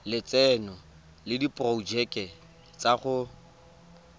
lotseno le diporojeke tsa go